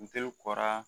N teriw kɔrɔ